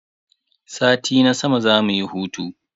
Sati na sama zamu yi hutu.